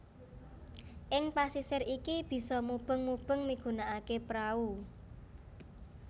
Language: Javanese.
Ing pasisir iki bisa mubeng mubeng migunakaké prau